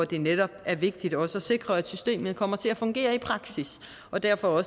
det netop er vigtigt også at sikre at systemet kommer til at fungere i praksis og derfor